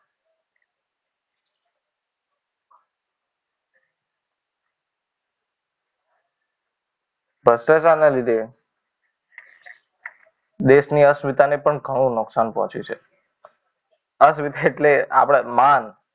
ભ્રષ્ટાચાર ના લીધે, દેશની અસ્મિતા ની પણ ઘણો નુકસાન પહોંચ્યું છે. અસ્મિતા એટલે માન.